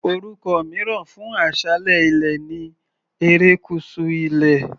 Orúkọ mìíràn fún aṣálẹ̀ ilẹ̀ ni erékùṣù ilẹ̀.